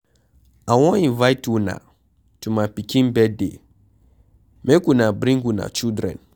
I wan invite una to my pikin birthday. Make una bring una children.